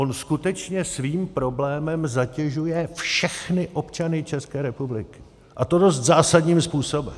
On skutečně svým problémem zatěžuje všechny občany České republiky, a to dost zásadním způsobem.